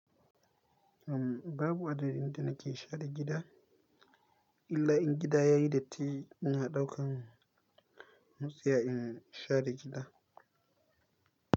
Uhm, babu adadin da nake share gida. Illa in gida ya yi datti in na ɗaukan motsa in share gida.